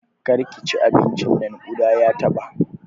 Kar ki ci abincin nan! ƙuda ya taɓa.